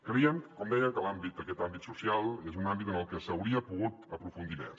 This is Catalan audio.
creiem com deia que l’àmbit d’aquest àmbit social és un àmbit en el que s’hauria pogut aprofundir més